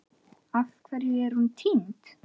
Af hverju er hún týnd?